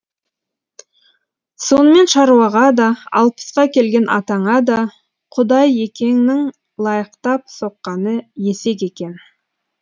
сонымен шаруаға да алпысқа келген атаңа да құдайекеңнің лайықтап соққаны есек екен